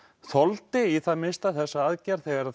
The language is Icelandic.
þoldi í það minnsta þessa aðgerð þegar